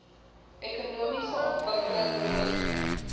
ekonomiese ontwikkeling toerisme